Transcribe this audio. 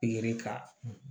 ka